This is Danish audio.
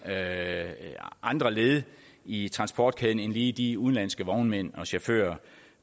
altså andre led i transportkæden end lige de udenlandske vognmænd og chauffører